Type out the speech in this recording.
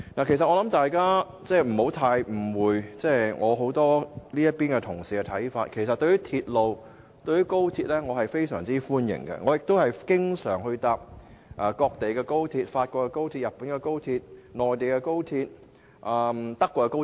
其實，大家不要誤會我這邊廂一些同事的看法，對於鐵路，我個人是相當歡迎的，亦經常乘搭各地的高鐵，包括法國高鐵、日本高鐵、內地高鐵和德國高鐵。